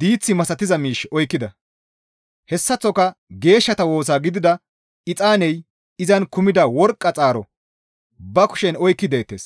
diith misatiza miish oykkida; hessaththoka geeshshata woosa gidida exaaney izan kumida worqqa xaaro ba kushen oykki deettes.